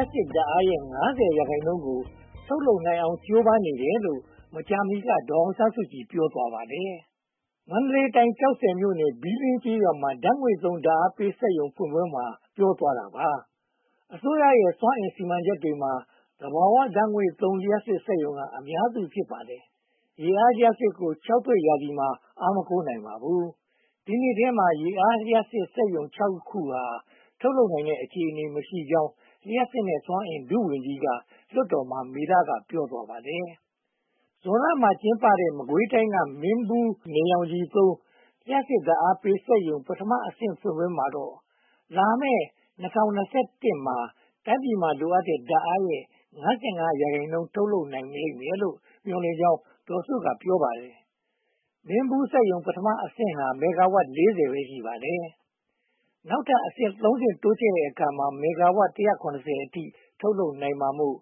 ပ်စစ်ဓါတ်အားရဲ့ (၅၀) ရာခိုင်နှုန်းကို ထုတ်လုပ်နိုင်အောင် ကြိုးပမ်းနေတယ်လို့ မကြာမီက ဒေါ်အောင်ဆန်းစုကြည်က ပြောဆိုသွားပါတယ်။ မန္တလေးတိုင်း ကျောက်ဆည်မြို့နယ်၊ ဘီးလင်းကျေးရွာမှာ ဓါတ်ငွေ့သုံး ဓါတ်အားပေးစက်ရုံဖွင့်ပွဲမှာ ပြောသွားတာပါ။ အစိုးရရဲ့ စွမ်းအင်စီမံချက်တွေမှာ သဘာဝဓါတ်ငွေ့သုံး လျှပ်စစ်စက်ရုံက အများစု ဖြစ်ပါတယ်။ ရေအားလျှပ်စစ်ကို ခြောက်သွေ့ရာသီမှာ အားမကိုးနိုင်ပါဘူး။ ဒီနှစ်ထဲမှာ ရေအားလျှပ်စစ်စက်ရုံ (၆) ခုဟာ ထုတ်လုပ်နိုင်တဲ့ အခြေအနေ မရှိတော့တာကြောင့် လျှပ်စစ်နဲ့စွမ်းအင် ဒုဝန်ကြီးက လွှတ်တော်မှာ မေလ က ပြောသွားခဲ့ပါတယ်။ ဇွန်လမှာကျင်းပတဲ့ မကွေးတိုင်း မင်းဘူးနေရောင်ခြည်သုံး လျှပ်စစ်ဓါတ်အားပေးစက်ရုံ ပထမအဆင့် ဖွင့်ပွဲမှာတော့ လာမယ့် (၂၀၂၁) ခုနှစ်မှာ တိုင်းပြည်မှာ လိုအပ်တဲ့ဓါတ်အားရဲ့ (၅၅) ရာခိုင်နှုန်း ထုတ်နိုင်လိမ့်မယ်လို့ မျှော်လင့်ကြောင်း ဒေါ်စုက ပြောပါတယ်။ မင်းဘူးစက်ရုံ ပထမအဆင့်ဟာ မီဂါဝပ် (၄၀) ပဲ ရှိပါတယ်။ နောက်ထပ်အဆင့် (၃) ဆင့် တိုးချဲ့တဲ့အခါမှာ မီဂါဝပ် (၁၇၀) အထိ ထုတ်လုပ်နိုင်မှာမို့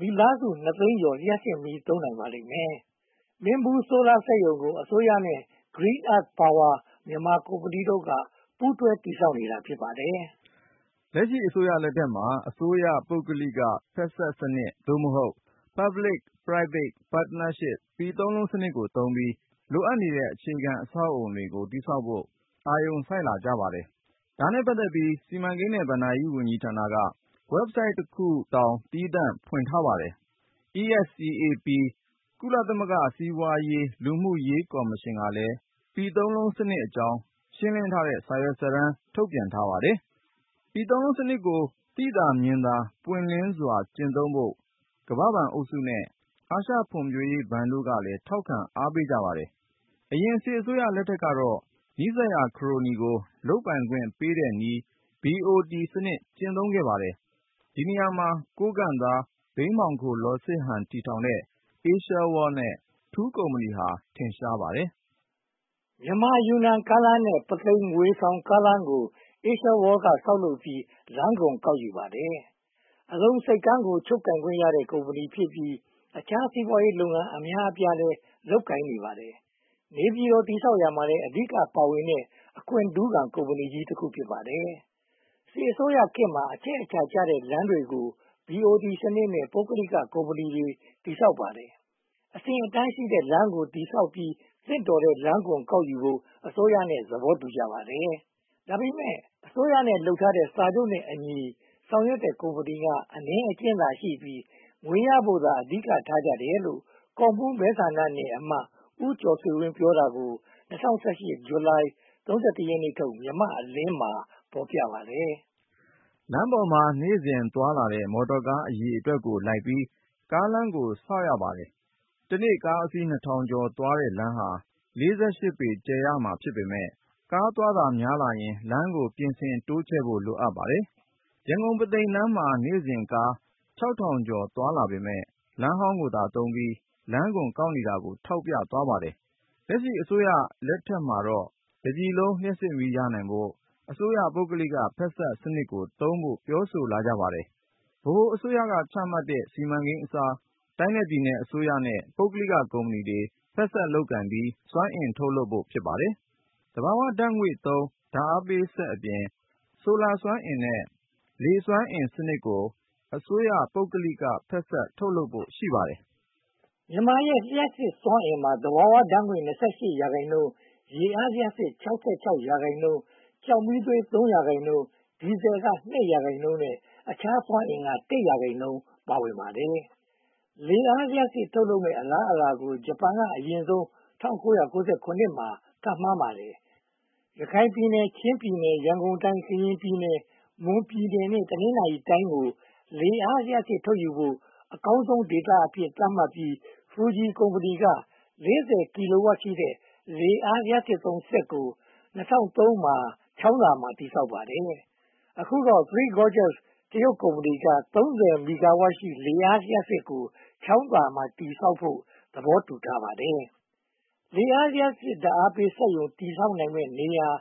မိသားစုနှစ်သိန်းကျော် လျှပ်စစ်မီး သုံးနိုင်ပါလိမ့်မယ်။ မင်းဘူးဆိုလာစက်ရုံကို အစိုးရရဲ့ Green Earth Power မြန်မာကုမ္ပဏီတို့က ပူးတွဲတည်ဆောက်တာ ဖြစ်ပါတယ်။ လက်ရှိအစိုးရလက်ထက်မှာ အစိုးရပုဂ္ဂလိက ဖက်စပ်စနစ် (သို့မဟုတ်) Public-Private-Partnership - ပီသုံးလုံးစနစ်ကိုသုံးပြီး လိုအပ်နေတဲ့ အခြေခံအဆောက်အအုံတွေကို တည်ဆောက်ဖို့ အာရုံစိုက်လာကြပါတယ်။ ဒါနဲ့ပတ်သက်ပြီး စီမံကိန်းနဲ့ဘဏ္ဍာရေးဝန်ကြီးဌာနက Website တခုတောင် သီးသန့်ဖွင့်ထားပါတယ်။ ESCAP ကုလသမဂ္ဂ စီးပွားရေး၊ လူမှုရေးကော်မရှင်ကလည်း ပီသုံးလုံးစနစ်အကြောင်း ရှင်းလင်းထားတဲ့ စာရွက်စာတမ်း ထုတ်ပြန်ထားပါတယ်။ ပီသုံးလုံးစနစ်ကို သိသာမြင်သာ ပွင့်လင်းစွာ ကျင့်သုံးဖို့ ကမ္ဘာ့ဘဏ်အုပ်စုနဲ့ အာရှဖွံ့ဖြိုးရေးဘဏ်တို့ကလည်း ထောက်ခံအားပေးကြပါတယ်။ အရင်အစိုးရလက်ထက်ကတော့ နီးစပ်ရာခရိုနီတွေကို လုပ်ပိုင်ခွင့်ပေးတဲ့နည်း BOT စနစ် ကျင့်သုံးပါတယ်။ ဒီနေရာမှာ ကိုးကန့်သား ဘိန်းမှောင်ခို လော်စစ်ဟန် တည်ထောင်ခဲ့တဲ့ Asia World နဲ့ ထူးကုမ္ပဏီတို့ဟာ ထင်ရှားပါတယ်။ မြန်မာ-ယူနန် ကားလမ်းနဲ့ ပုသိမ်-ငွေဆောင် ကားလမ်းတို့ကို Asia World က ဆောက်လုပ်ပြီး လမ်းခွန် ကောက်ယူခဲ့ပါတယ်။ အလုံဆိပ်ကမ်းကို ချုပ်ကိုင်ခွင့်ရတဲ့ ကုမ္ပဏီဖြစ်ပြီး အခြားစီးပွားရေးလုပ်ငန်း အများအပြားလည်း လုပ်ကိုင်နေပါတယ်။ နေပြည်တော် တည်ဆောက်ရာမှာလည်း အဓိကပါဝင်ခွင့်ရခဲ့တဲ့ အခွင့်ထူးခံ ကုမ္ပဏီကြီးတခု ဖြစ်ပါတယ်။ စစ်အစိုးရခေတ်မှာ အချက်အချာကျတဲ့လမ်းတွေကို BOT စနစ်နဲ့ ပုဂ္ဂလိက ကုမ္ပဏီတွေက တည်ဆောက်ပါတယ်။ အဆင့်အတန်းရှိတဲ့လမ်းကို တည်ဆောက်ပြီး သင့်တော်နဲ့ လမ်းခွန်ကောက်ယူဖို့ အစိုးရနဲ့ သဘောတူညီကြပါတယ်။ ဒါပေမဲ့ အစိုးရနဲ့ လုပ်ထားတဲ့ စာချုပ်နဲ့အညီ ဆောင်ရွက်တဲ့ကုမ္ပဏီက အနည်းအကျဉ်းသာရှိပြီး ငွေရဖို့သာ အဓိကထားကြတယ်လို့ ကော့မှူးမဲဆန္ဒနယ်အမတ် ဦးကျော်ဆွေဝင်း ပြောတာကို ၂၀၁၈ ဇူလိုင် (၃၁) ရက်နေ့ထုတ် မြန်မာ့အလင်းမှာ ဖော်ပြထားပါတယ်။ လမ်းပေါ်မှာ နေ့စဉ်သွားလာနေတဲ့ မော်တော်ကားအရေအတွက်ကိုလိုက်ပြီး ကားလမ်းကို ဆောက်ရပါတယ်။ တနေ့ကားအစီး (၂၀၀၀) ကျော်သွားတဲ့လမ်းဟာ (၄၈) ပေ ကျယ်ရမှာ ဖြစ်ပေမယ့် ကားသွားတာ များလာရင် လမ်းကိုပြင်ဆင်တိုးချဲ့ဖို့ လိုပါတယ်။ ရန်ကုန်-ပုသိမ်လမ်းမှာ နေ့စဉ်ကား (၆၀၀၀) ကျော် သွားလာနေပေမယ့် လမ်းဟောင်းကိုသာသုံးပြီး လမ်းခွန်ကောက်ယူနေတာကို ထောက်ပြသွားပါတယ်။ လက်ရှိအစိုးရလက်ထက်မှာတော့ တပြည်လုံး လျှပ်စစ်မီးရနိုင်ဖို့ အစိုးရပုဂ္ဂလိကဖက်စပ်စနစ်ကိုသုံးဖို့ ပြောဆိုလာကြပါတယ်။ ဗဟိုအစိုးရ ချမှတ်တဲ့ စီမံကိန်းအစား တိုင်းနဲ့ပြည်နယ်အစိုးရရဲ့ ပုဂ္ဂလိကကုမ္ပဏီတွေ ဖက်စပ်လုပ်ကိုင်ပြီး စွမ်းအင်ထုတ်လုပ်ဖို့ ဖြစ်ပါတယ်။ သဘာဝဓါတ်ငွေ့သုံး ဓါတ်အားပေးစက်အပြင် ဆိုလာစွမ်းအင်နဲ့ Wind Power လျှပ်စစ်ကို အစိုးရပုဂ္ဂလိက ဖက်စပ်ထုတ်လုပ်ဖို့ ရှိပါတယ်။ မြန်မာ့ရဲ့လျှပ်စစ်စွမ်းအင်မှာ သဘာဝဓါတ်ငွေ့ (၂၈) ရာခိုင်နှုန်း၊ ရေအားလျှပ်စစ် (၆၆) ရာခိုင်နှုန်း၊ ကျောက်မီးသွေး (၃) ရာခိုင်နှုန်း၊ ဒီဇယ် (၂) ရာခိုင်နှုန်းနဲ့ အခြားစွမ်းအင်က (၁) ရာခိုင်နှုန်း ပါဝင်ပါတယ်။ လေအားလျှပ်စစ်ထုတ်လုပ်မယ့် အလားအလာကို ဂျပန်က အရင်ဆုံး ၁၉၉၇ က ခန့်မှန်းခဲ့ပါတယ်။ ရခိုင်ပြည်နယ်၊ ချင်းပြည်နယ်၊ ရန်ကုန်တိုင်း၊ ကရင်ပြည်နယ်၊ မွန်ပြည်နယ်နဲ့ တနင်္သာရီတိုင်းကို လေအားလျှပ်စစ်ထုတ်ယူဖို့ အကောင်းဆုံးဒေသအဖြစ် သတ်မှတ်ပြီး ဖူဂျီကုမ္ပဏီက (၄၀) ကီလိုဝပ်ရှိတဲ့ လေအားလျှပ်စစ်စက်ကို ၂၀၀၃ မှာ ချောင်းသာမှာ တည်ဆောက်ပါတယ်။ အခုတော့ Three Gorges တရုတ်ကုမ္ပဏီက (၃၀) မီဂါဝပ်ရှိတဲ့ လေအားလျှပ်စစ်ကို ချောင်းသာမှာ တည်ဆောက်ဖို့ သဘောတူထားပါတယ်။ လေအားလျှပ်စစ် ဓါတ်အားပေးစက်ရုံ တည်နိုင်မယ့် နေရာ (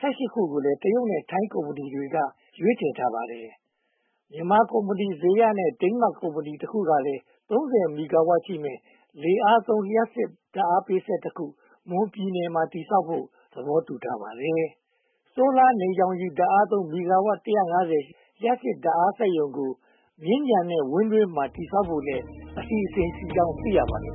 ၁၈) ခုကိုလည်း တရုတ်နဲ့ ထိုင်းကုမ္ပဏီတွေက ရွေးချယ်ထားပါတယ်။ မြန်မာကုမ္ပဏီ ဇေယျနဲ့ ဒိန်းမတ်ကုမ္ပဏီတခုကလည်း (၃၀) မီဂါဝပ်ရှိမယ့် လေအားသုံး ဓါတ်အားပေးစက်တခု မွန်ပြည်နယ်မှာ တည်ဆောက်ဖို့ သဘောတူထားပါတယ်။ ဆိုလာနေရောင်ခြည် ဓါတ်အားသုံး မီဂါဝပ် (၁၅၀) ရှိတဲ့ လျှပ်စစ်ဓါတ်အားစက်ရုံကို မြင်းခြံနဲ့ ဝမ်းတွင်းမှာ တည်ဆောက်ဖို့လည်း အစီအစဉ်ရှိကြောင်း သိရပါတယ်